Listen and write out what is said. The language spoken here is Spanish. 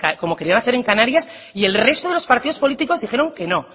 como querían hacer en canarias y el resto de los partidos políticos dijeron que no